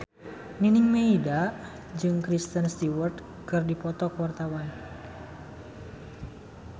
Nining Meida jeung Kristen Stewart keur dipoto ku wartawan